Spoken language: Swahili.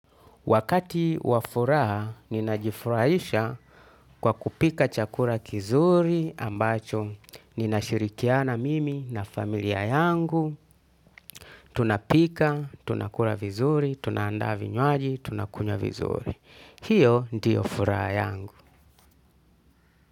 Wakati wa furaha, ninajifurahisha kwa kupika chakura kizuri ambacho ninashirikiana mimi na familia yangu. Tunapika, tunakura vizuri, tunaanda vinywaji, tunakunywa vizuri. Hiyo ndiyo furaha yangu.